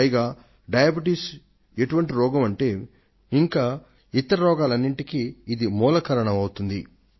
పైగా డయాబెటిస్ ఎటువంటి రోగం అంటే ఇంకా ఇతర రోగాలెన్నింటికో ఇది మూలకారణం అవుతోంది